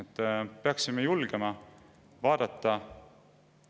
Ma peaksime julgema tõele silma vaadata.